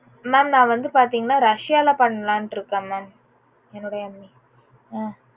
mam நா வந்து பாத்தீங்கன்னா russia ல பண்ணலாம்னு இருக்கேன் mam என்னுடைய ME ஹம்